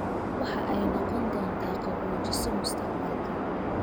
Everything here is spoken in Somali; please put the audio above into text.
Waxa ay noqon doontaa qaboojiso mustaqbalka